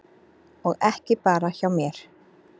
Og ekki bara hjá mér.